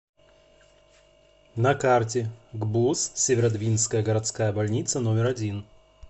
на карте гбуз северодвинская городская больница номер один